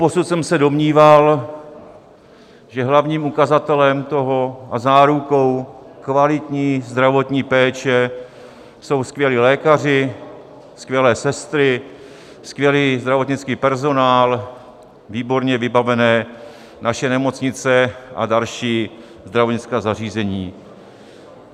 Doposud jsem se domníval, že hlavním ukazatelem toho a zárukou kvalitní zdravotní péče jsou skvělí lékaři, skvělé sestry, skvělý zdravotnický personál, výborně vybavené naše nemocnice a další zdravotnická zařízení.